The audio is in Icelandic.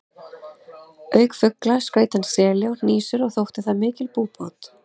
Auk fugla skaut hann seli og hnísur og þótti það mikil búbót.